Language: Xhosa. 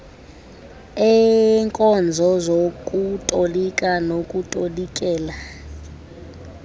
eenkonzo zokutolika nokutolikela